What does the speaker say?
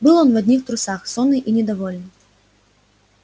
был он в одних трусах сонный и недовольный